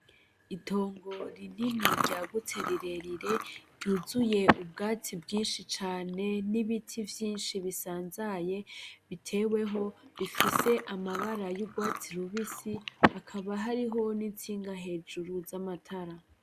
Itongo rinini ry'agutse rirerire ryuzuye ubwatsi bwinshi cane n'ibiti vyinshi bisanzaye biteweho bifise amabara y'ugwatsi rubisi hakaba hariho n'intsinga hejuru z'amatara.